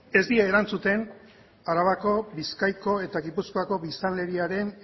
ez die erantzuten arabako bizkaiko eta gipuzkoako biztanleriaren